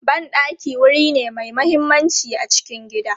Ban ɗaki wuri ne mai mahimmanci a cikin gida.